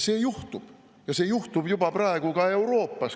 See juhtub ja see juhtub juba praegu ka Euroopas.